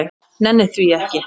Nenni því ekki.